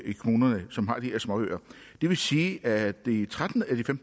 i kommunerne som har de her småøer det vil sige at de tretten af de